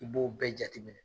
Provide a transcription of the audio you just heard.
I b'o bɛɛ jateminɛ